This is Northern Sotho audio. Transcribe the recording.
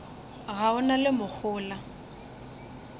ga o sa na mohola